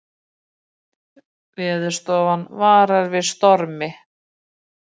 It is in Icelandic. Veðurstofan varar við stormi